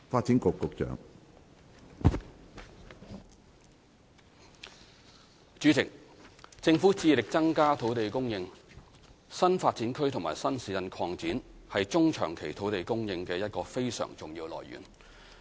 主席，政府致力增加土地供應，新發展區及新市鎮擴展是中長期土地供應的一個非常重要來源。